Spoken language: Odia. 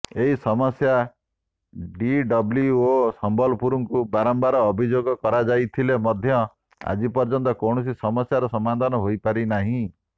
ଏହି ସମସ୍ୟା ଡିଡବ୍ଲ୍ୟୁଓ ସମ୍ବଲପୁରଙ୍କୁ ବାରମ୍ବାର ଅଭିଯୋଗ କରାଯାଇଥିଲେ ମଧ୍ୟ ଆଜି ପର୍ଯ୍ୟନ୍ତ କୌଣସି ସମସ୍ୟାର ସମାଧାନ ହୋଇପାରିନାହିଁ